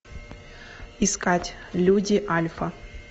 искать люди альфа